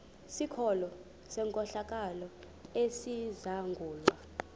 sikolo senkohlakalo esizangulwa